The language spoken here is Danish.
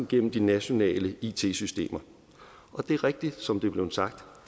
gennem de nationale it systemer og det er rigtigt som det er blevet sagt